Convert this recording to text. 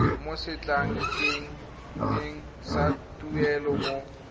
mo setlankaneng sa tuelo mo